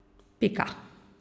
Pika.